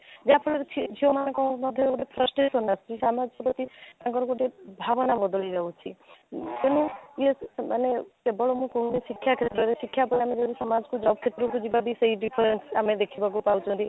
ଯାହା ଫଳରେ ଝିଅ ମାନଙ୍କ ମଧ୍ୟରେ ସାନ ଯଉଟା କି ତାଙ୍କର ଗୋଟେ ଭାବନା ବଦଳି ଯାଉଛି ଏବଂ ଯିଏ କି କେବଳ ମୁଁ କହୁନି ଶିକ୍ଷା କ୍ଷେତ୍ରରେ ଶିକ୍ଷା ପ୍ରଦାନ କରୁଛି ସମାଜକୁ job କ୍ଷେତ୍ରକୁ ଯିବ ବି ସେଇ different ଆମେ ଦେଖିବାକୁ ପାଉଛନ୍ତି